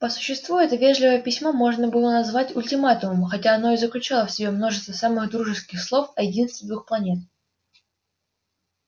по существу это вежливое письмо можно было назвать ультиматумом хотя оно и заключало в себе множество самых дружеских слов о единстве двух планет